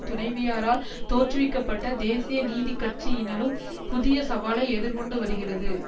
துணைவியாரால் தோற்றுவிக்க பட்ட தேசிய நீதி கட்சி இனாலும் புதிய சவாலை எதிர்கொண்டு வருகிறது